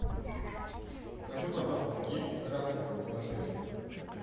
скажи пожалуйста есть ли рафтинг в отеле